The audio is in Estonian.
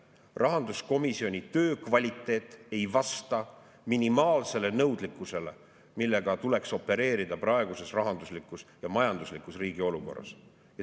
Rahanduskomisjoni töö kvaliteet ei vasta minimaalsele nõudlikkusele, millega tuleks opereerida riigi praeguses rahanduslikus ja majanduslikus olukorras.